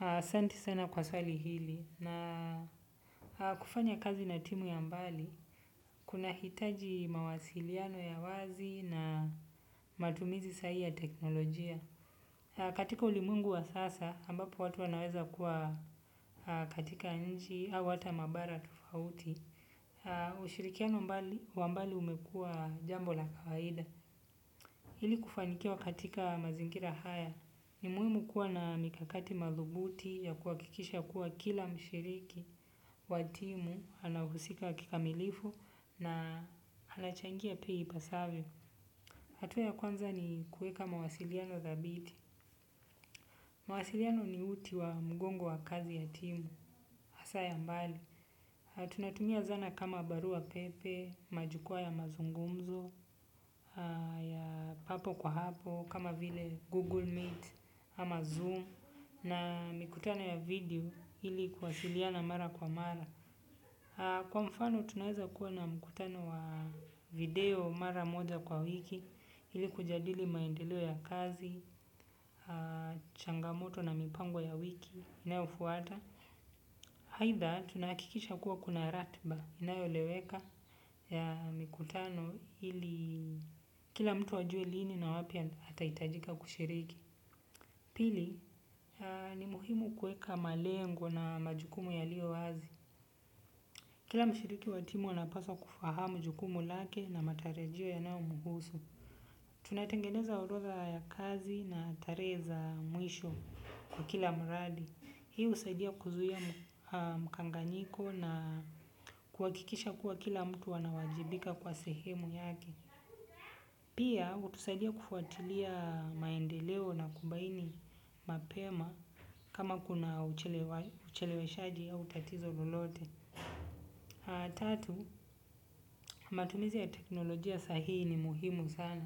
Asente sana kwa swali hili na kufanya kazi na timu ya mbali, kuna hitaji mawasiliano ya wazi na matumizi sahihi ya teknolojia. Katika ulimwengu wa sasa ambapo watu wanaweza kuwa katika nchi au mabara tofauti ushirikiano wa mbali umekuwa jambo la kawaida. Hili kufanikiwa katika mazingira haya. Ni muimu kuwa na mikakati mathubuti ya kuhakikisha kuwa kila mshiriki wa timu, anahusika kikamilifu na anachangia pia ipasavyo. Hatua ya kwanza ni kuweka mawasiliano thabiti. Mawasiliano ni mti wa mgongo wa kazi ya timu. Asa ya mbali. Tunatumia zana kama barua pepe, majukwaa ya mazungumzo, ya papo kwa hapo, kama vile Google Meet ama Zoom, na mikutano ya video ili kwasiliana mara kwa mara. Kwa mfano tunaweza kuwa na mikutano wa video mara moja kwa wiki ili kujadili maendeleo ya kazi, changamoto na mipango ya wiki inayofuata. Haidha, tunahakikisha kuwa kuna ratba inayo leweka ya mikutano ili kila mtu wajue lini na wapia hata itajika kushiriki. Pili, ni muhimu kuweka malengo na majukumu ya lio wazi. Kila mshiriki watimu anapaswa kufahamu jukumu lake na matarajio ya naomuhusu. Tunatengeneza orodha ya kazi na tarehe mwisho kwa kila mradi. Hii husaidia kuzuia mkanganyiko na kuhakikisha kuwa kila mtu wanawajibika kwa sehemu yake. Pia utusaidia kufuatilia maendeleo na kubaini mapema kama kuna uchelewe shaji au tatizo lolote. Tatu, matumizi ya teknolojia sahihi ni muhimu sana.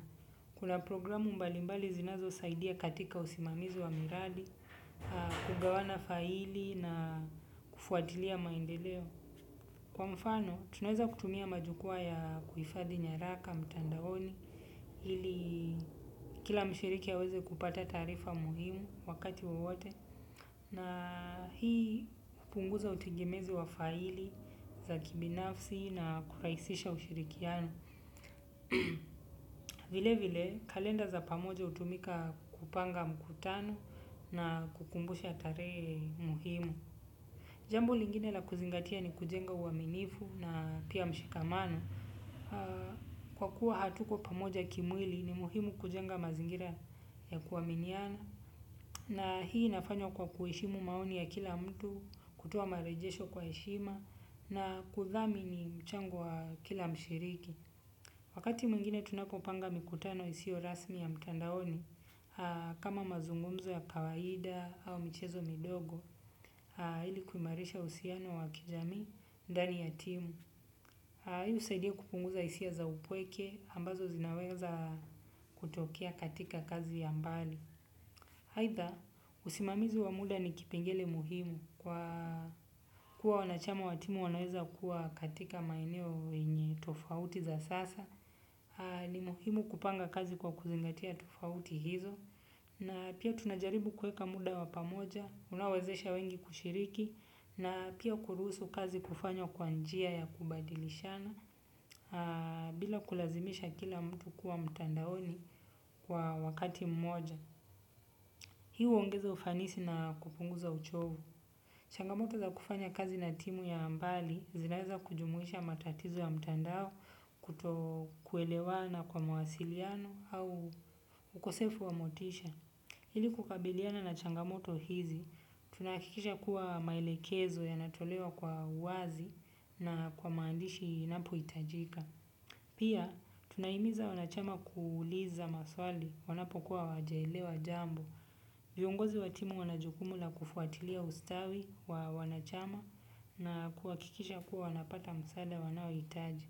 Kuna programu mbalimbali zinazo usaidizi katika usimamizu wa miradi, kugawana faili na kufuatilia maendeleo. Kwa mfano, tunaweza kutumia majukwaa ya kuifadhi nyaraka, mtandaoni, ili kila mshiriki a weze kupata taarifa muhimu wakati wowote. Na hii hupunguza utegemezi wa faili za kibinafsi na kurahisisha ushirikiano. Vile vile kalenda za pamoja utumika kupanga mkutano na kukumbusha tarehe muhimu. Jambo lingine la kuzingatia ni kujenga uaminifu na pia mshikamano. Kwa kuwa hatuko pamoja kimwili ni muhimu kujenga mazingira ya kuaminiana. Na hii nafanywa kwa kueshimu maoni ya kila mtu kutowa marejesho kwa eshima na kuthami ni mchango wa kila mshiriki. Wakati mwingine tunapopanga mikutano isiyo rasmi ya mtandaoni, kama mazungumzo ya kawaida au michezo midogo, ilikuimarisha usiano wakijamii, ndani ya timu. Husaidia kupunguza hisia za upweke, ambazo zinaweza kutokea katika kazi ya mbali. Aidha, usimamizi wa muda ni kipengele muhimu kwa kuwa wanachama watimu wanaweza kuwa katika maeneo yenye tofauti za sasa, ni muhimu kupanga kazi kwa kuzingatia tofauti hizo, na pia tunajaribu kuweka muda wapamoja, unawazesha wengi kushiriki, na pia kuruhusu kazi kufanywa kwanjia ya kubadilishana, bila kulazimisha kila mtu kuwa mtandaoni kwa wakati mmoja. Hii huongeza ufanisi na kupunguza uchovu. Changamoto za kufanya kazi na timu ya mbali zinaweza kujumuhisha matatizo ya mtandao kuto kuelewana kwa mawasiliano au ukosefu wamotisha. Hili kukabiliana na changamoto hizi, tunahakikisha kuwa maelekezo ya natolewa kwa wazi na kwa maandishi inapo itajika. Pia, tunaimiza wanachama kuuliza maswali wanapo kuwa wajelewa jambo. Viongozi wa timu wanajukumu na kufuatilia ustawi wa wanachama na kuwakikisha kuwa wanapata msaada wanawitaji.